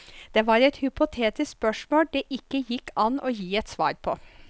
Det var et hypotetisk spørsmål det ikke gikk an å gi et svar på.